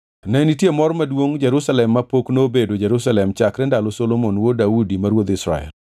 Ne nitie mor maduongʼ Jerusalem mapok nobedo Jerusalem chakre ndalo Solomon wuod Daudi ma ruodh Israel.